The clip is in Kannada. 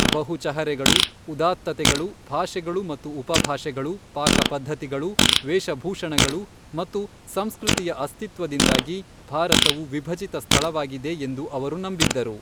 ಬಹು ಚಹರೆಗಳು, ಉದಾತ್ತತೆಗಳು, ಭಾಷೆಗಳು ಮತ್ತು ಉಪಭಾಷೆಗಳು, ಪಾಕಪದ್ಧತಿಗಳು, ವೇಷಭೂಷಣಗಳು ಮತ್ತು ಸಂಸ್ಕೃತಿಯ ಅಸ್ತಿತ್ವದಿಂದಾಗಿ ಭಾರತವು ವಿಭಜಿತ ಸ್ಥಳವಾಗಿದೆ ಎಂದು ಅವರು ನಂಬಿದ್ದರು.